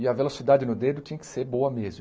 E a velocidade no dedo tinha que ser boa mesmo.